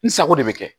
N sago de bɛ kɛ